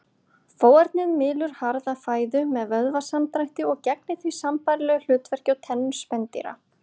Fóarnið mylur harða fæðu með vöðvasamdrætti og gegnir því sambærilegu hlutverki og tennur spendýra.